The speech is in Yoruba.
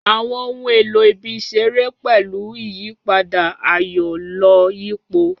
Àwọn ohun èlò ibi ìṣeré pẹ̀lú ìyípadà, ayọ̀-lọ-yípo.